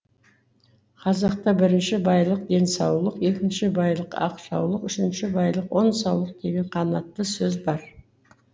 қазақта бірінші байлық денсаулық екінші байлық ақ жаулық үшінші байлық он саулық деген қанатты сөз бар